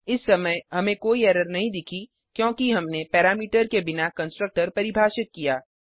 इस समय हमें कोई एरर नहीं दिखी क्योंकि हमने पैरामीटर के बिना कंस्ट्रक्टर परिभाषित किया